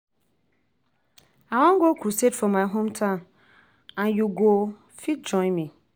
I wan go crusade for my hometown and you go fit join me